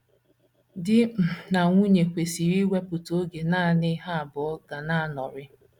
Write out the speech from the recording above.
Di um na nwunye kwesịkwara iwepụta oge nanị ha abụọ ga na - anọrị.